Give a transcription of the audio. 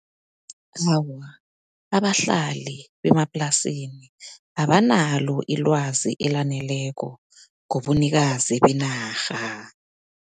Awa, abahlali bemaplasini abanalo ilwazi elaneleko ngobunikazi benarha.